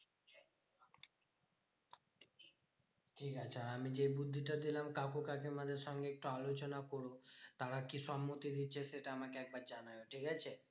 ঠিকাছে আর আমি যে বুধ্ধিটা দিলাম কাকু কাকিমাদের সঙ্গে একটু আলোচনা কোরো। তারা কি সম্মতি দিচ্ছে? সেটা আমাকে একবার জানাবে, ঠিকাছে?